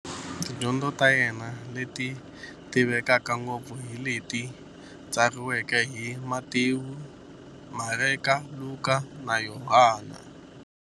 Yena na tidyondzo ta yena, leti tivekaka ngopfu hi leti tsariweke hi-Matewu, Mareka, Luka, na Yohani.